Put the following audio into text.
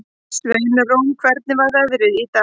Sveinrún, hvernig er veðrið í dag?